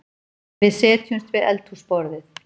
Við setjumst við eldhúsborðið.